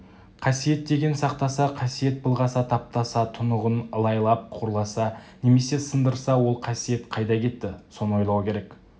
қасиет деген сақтаса қасиет былғаса таптаса тұнығын ылайлап қорласа немесе сындырса ол қасиет қайда кетті соны ойлау керек